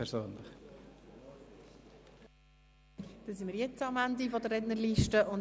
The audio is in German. Damit sind wir jetzt am Ende der Rednerliste angelangt.